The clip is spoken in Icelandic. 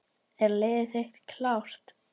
Er liðið þitt klárt?